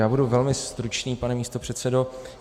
Já budu velmi stručný, pane místopředsedo.